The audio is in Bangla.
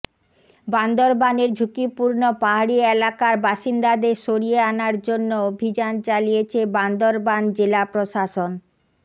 বান্দরবানের ঝুঁকিপূর্ণ পাহাড়ি এলাকার বাসিন্দাদের সরিয়ে আনার জন্য অভিযান চালিয়েছে বান্দরবান জেলা প্রশাসন